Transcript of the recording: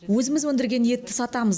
өзіміз өндірген етті сатамыз